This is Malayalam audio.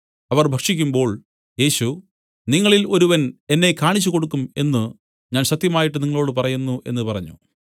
അവർ ഭക്ഷിക്കുമ്പോൾ യേശു നിങ്ങളിൽ ഒരുവൻ എന്നെ കാണിച്ചുകൊടുക്കും എന്നു ഞാൻ സത്യമായിട്ട് നിങ്ങളോടു പറയുന്നു എന്നു പറഞ്ഞു